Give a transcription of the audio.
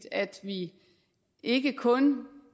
at vi ikke kun